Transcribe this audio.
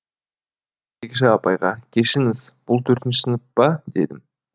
кезекші апайға кешіріңіз бұл төртінші сынып па дедім